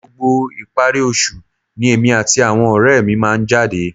Gbogbo ìparí oṣù ni èmi àti àwọn ọ̀rẹ́ mi máa ń jáde